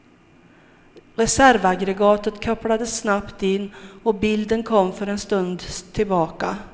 Reservaggregatet kopplades snabbt in, och bilden kom för en stund tillbaka.